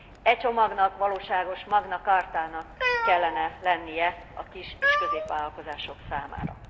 E csomagnak valóságos magna chartának kellene lennie a kis és középvállalkozások számára.